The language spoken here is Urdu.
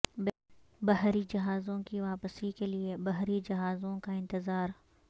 بحری جہازوں کی واپسی کے لئے بحری جہازوں کا انتظار